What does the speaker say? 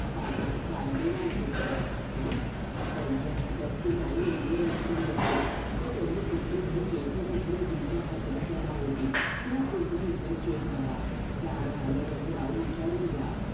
ताटात काय आणि वाटीत काय? आ? त्यांच्या खात्यात की नाही एवढी रक्कम नसेल ते त्यांनी तिकडे भरले की इकडे तुमच्या खात्यात जमा होतील. तुम्ही पुन्हा एकदा cheque भरा. जावयाला एक डाव विचारून घ्या.